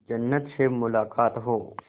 जन्नत से मुलाकात हो